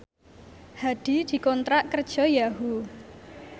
Hadi dikontrak kerja karo Yahoo!